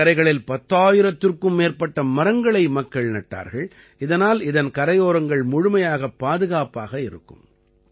நதிக்கரைகளில் 10000த்திற்கும் மேற்பட்ட மரங்களை மக்கள் நட்டார்கள் இதனால் இதன் கரையோரங்கள் முழுமையாகப் பாதுகாப்பாக இருக்கும்